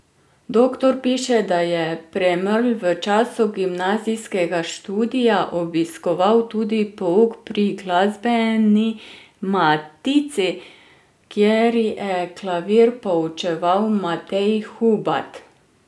Doktor piše, da je Premrl v času gimnazijskega študija obiskoval tudi pouk pri Glasbeni Matici, kjer je klavir poučeval Matej Hubad.